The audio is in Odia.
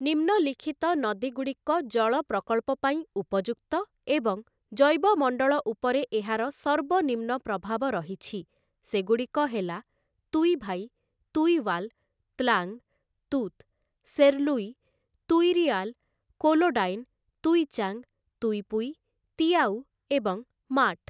ନିମ୍ନଲିଖିତ ନଦୀଗୁଡ଼ିକ ଜଳ ପ୍ରକଳ୍ପ ପାଇଁ ଉପଯୁକ୍ତ ଏବଂ ଜୈବମଣ୍ଡଳ ଉପରେ ଏହାର ସର୍ବନିମ୍ନ ପ୍ରଭାବ ରହିଛି ସେଗୁଡ଼ିକ ହେଲା ତୁଇଭାଇ, ତୁଇୱାଲ, ତ୍ଲାଙ୍ଗ୍‌, ତୁତ୍‌, ସେର୍ଲୁଇ, ତୁଇରିଆଲ, କୋଲୋଡାଇନ୍‌, ତୁଇଚାଙ୍ଗ୍‌, ତୁଇପୁଇ, ତିଆଉ ଏବଂ ମାଟ୍ ।